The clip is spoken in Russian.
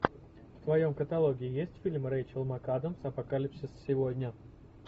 в твоем каталоге есть фильм рейчел макадамс апокалипсис сегодня